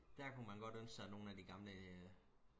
der kunne man godt ønske sig nogle af de gamle øh